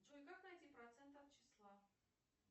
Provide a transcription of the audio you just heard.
джой как найти процент от числа